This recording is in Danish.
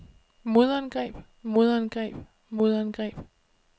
modangreb modangreb modangreb